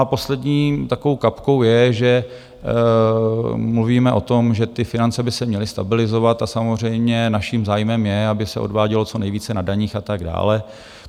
A poslední takovou kapkou je, že mluvíme o tom, že ty finance by se měly stabilizovat a samozřejmě naším zájmem je, aby se odvádělo co nejvíce na daních atd.